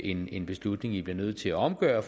en en beslutning i bliver nødt til at omgøre